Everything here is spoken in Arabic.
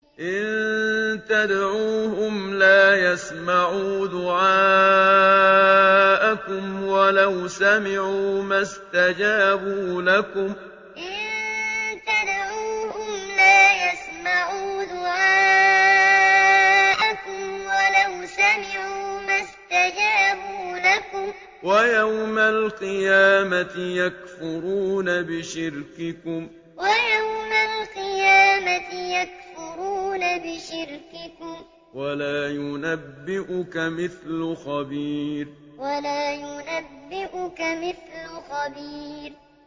إِن تَدْعُوهُمْ لَا يَسْمَعُوا دُعَاءَكُمْ وَلَوْ سَمِعُوا مَا اسْتَجَابُوا لَكُمْ ۖ وَيَوْمَ الْقِيَامَةِ يَكْفُرُونَ بِشِرْكِكُمْ ۚ وَلَا يُنَبِّئُكَ مِثْلُ خَبِيرٍ إِن تَدْعُوهُمْ لَا يَسْمَعُوا دُعَاءَكُمْ وَلَوْ سَمِعُوا مَا اسْتَجَابُوا لَكُمْ ۖ وَيَوْمَ الْقِيَامَةِ يَكْفُرُونَ بِشِرْكِكُمْ ۚ وَلَا يُنَبِّئُكَ مِثْلُ خَبِيرٍ